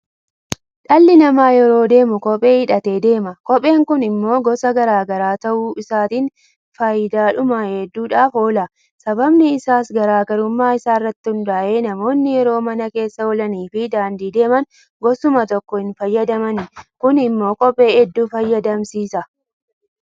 Dhalli namaa yeroo deemu kophee hidhatee deema. Kopheen kun immoo gosa garaa garaa ta'uu isaatiin faayidaadhuma hedduudhaaf oola. Sababni isaas garaa garummaa isaa irratti hundaa'ee namoonni yeroo mana keessa oolanii fi daandii deeman gosuma tokko hinfayyadamani. Kun immoo kophee hudduu fayyadamsiisa.